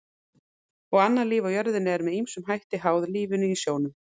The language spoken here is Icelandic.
og annað líf á jörðinni er með ýmsum hætti háð lífinu í sjónum